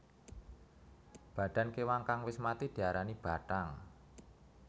Badan kewan kang wis mati diarani bathang